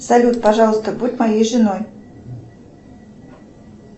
салют пожалуйста будь моей женой